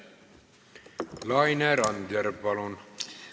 Laine Randjärv, palun!